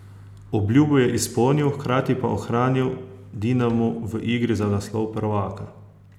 Obljubo je izpolnil, hkrati pa ohranil Dinamo v igri za naslov prvaka.